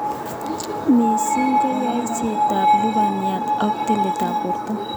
Missing konyoisetab lubaniat ko tiletab borto